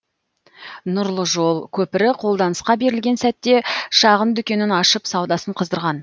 нұрлы жол көпірі қолданысқа берілген сәтте шағын дүкенін ашып саудасын қыздырған